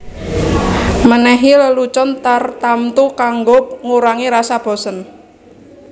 Menehi lelucon tartamtu kanggo ngurangi rasa bosen